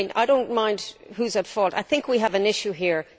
I mean, I do not mind who is at fault. I think we have an issue here.